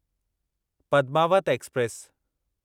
Padmaavat express